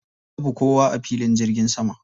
Babu kowa a filin jirgin sama.